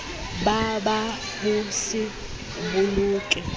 ba ba ho se boloke